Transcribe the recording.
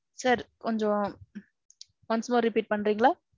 sir கொஞ்சோம். once more repeat பன்றீங்களா?